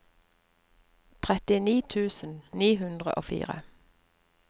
trettini tusen ni hundre og fire